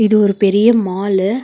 இது ஒரு பெரிய மாலு .